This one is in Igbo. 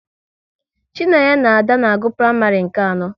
Chinenye na Ada na-agụ praịmarị nke anọ